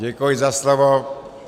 Děkuji za slovo.